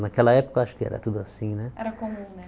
Naquela época, acho que era tudo assim, né? Era comum né